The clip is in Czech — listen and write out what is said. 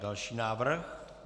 Další návrh.